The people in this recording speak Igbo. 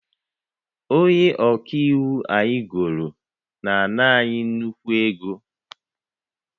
Onye ọka iwu anyị goro na-ana anyị nnukwu ego